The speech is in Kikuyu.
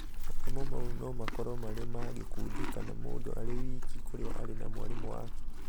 mathomo mau no makorwo marĩ ma gĩkundi kana mũndũ arĩ wiki kũria arĩ na mwarimũ wake.